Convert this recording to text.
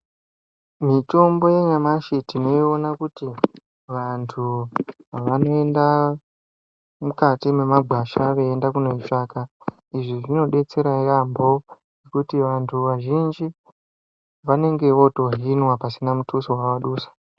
Mitombo yenyamashe tinoyiwona kuti vantu vanoyinda mukati memagwasha veyenda kunoyitsvaka. Izvi zvinodetsera yambo, kuti vantu vazhinji vanenge votohinwa pasina muthuso wadusa.